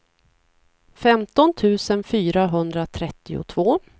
femton tusen fyrahundratrettiotvå